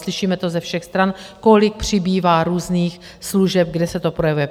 Slyšíme to ze všech stran, kolik přibývá různých služeb, kde se to projevuje.